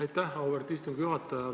Aitäh, auväärt istungi juhataja!